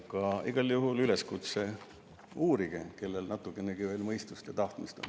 Aga igal juhul üleskutse: uurige, kui teil natukenegi veel mõistust ja tahtmist on.